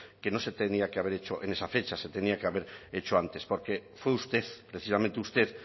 que no se tenía que haber hecho en esa fecha se tenía que haber hecho antes porque fue usted precisamente usted